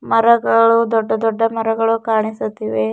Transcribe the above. ಮರಗಳು ದೊಡ್ಡ ದೊಡ್ಡ ಮರಗಳು ಕಾಣಿಸುತ್ತಿವೆ.